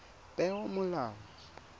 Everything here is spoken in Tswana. peomolao